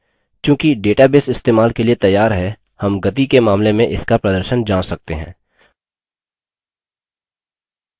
चूँकि database इस्तेमाल के लिए तैयार है हम गति के मामले में इसका प्रदर्शन जाँच सकते हैं